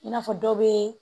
I n'a fɔ dɔ bɛ